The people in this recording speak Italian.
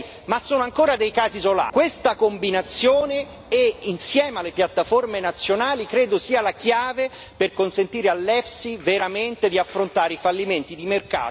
Questa combinazione, insieme alle piattaforme nazionali, credo sia la chiave per consentire all'EFSI veramente di affrontare i fallimenti di mercato attraverso tutto il territorio europeo.